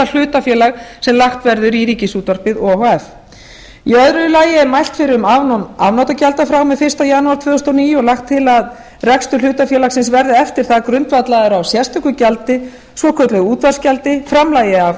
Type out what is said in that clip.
hlutafélag sem lagt verður í ríkisútvarpið o h f í öðru lagi er mælt fyrir um afnám afnotagjalda frá og með fyrsta janúar tvö þúsund og níu og lagt til að rekstur hlutafélagsins verði eftir það grundvallaður á sérstöku gjaldi svokölluðu útvarpsgjaldi framlagi af